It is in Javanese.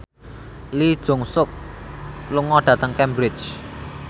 Lee Jeong Suk lunga dhateng Cambridge